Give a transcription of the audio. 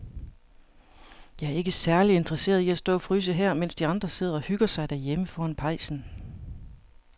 Jeg er ikke særlig interesseret i at stå og fryse her, mens de andre sidder og hygger sig derhjemme foran pejsen.